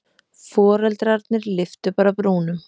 Foreldrarnir lyftu bara brúnum.